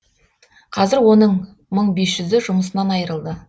қазір оның мың бес жүзі жұмысынан айырылды